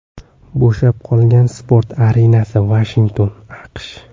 Bo‘shab qolgan sport arenasi, Vashington (AQSh).